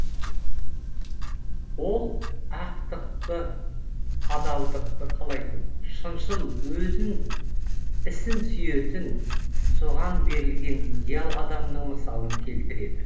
ол ақтықды адалдықты қалайтын шыншыл өзін ісін сүйетін соған берілген идеал адамның мысалын келтіреді